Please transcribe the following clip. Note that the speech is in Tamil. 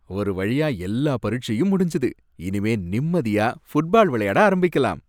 ஒரு வழியா எல்லா பரிட்சையும் முடிஞ்சது, இனிமே நிம்மதியா ஃபுட்பால் விளையாட ஆரம்பிக்கலாம்.